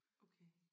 Okay